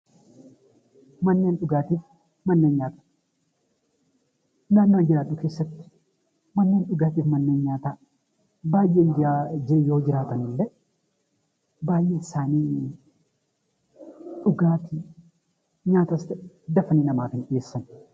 Manneen dhugaatii, manneen nyaataa Manneen dhugaatii keessatti akkasumas manneen nyaataa keessatti baayyeen yoo jiraatan illee baayyeen isaanii afaanii nyaatas dafanii namaa gaggeessan.